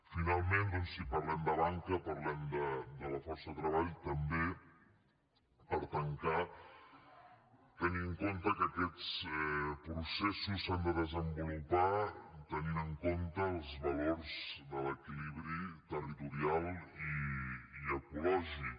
finalment doncs si parlem de banca parlem de la força de treball també per tancar tenint en compte que aquests processos s’han de desenvolupar tenint en compte els valors de l’equilibri territorial i ecològic